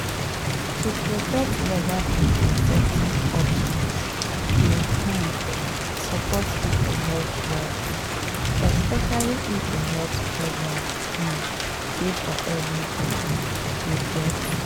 to protect legal contraceptive options dey um support people health rights especially if the health programs um dey for everybody you get?